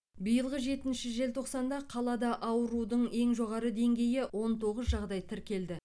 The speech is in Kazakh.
биылғы жетінші желтоқсанда қалада аурудың ең жоғары деңгейі он тоғыз жағдай тіркелді